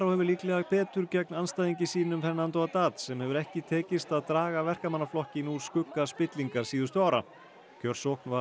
hefur líklega betur gegn andstæðingi sínum Fernando sem hefur ekki tekist að draga Verkamannaflokkinn úr skugga spillingar síðustu ára kjörsókn var